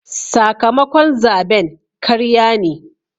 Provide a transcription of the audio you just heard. Sakamakon zaben karya ne.